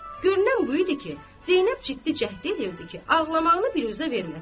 Görünən bu idi ki, Zeynəb ciddi cəhd eləyirdi ki, ağlamağını biruzə verməsin.